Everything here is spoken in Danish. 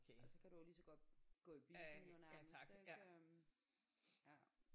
Altså kan du jo ligeså godt gå i biffen jo nærmest ik øh ja